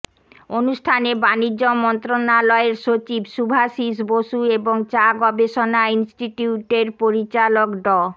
অনুষ্ঠানে বাণিজ্য মন্ত্রণালয়ের সচিব শুভাশিস বসু এবং চা গবেষণা ইন্সটিটিউটের পরিচালক ড